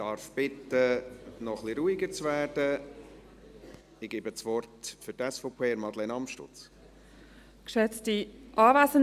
Ich bitte um etwas mehr Ruhe und gebe das Wort Madeleine Amstutz für die SVP.